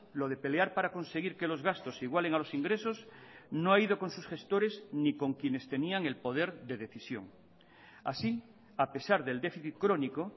lo de pelear para conseguir que los gastos igualen a los ingresos no ha ido con sus gestores ni con quienes tenían el poderde decisión así a pesar del déficit crónico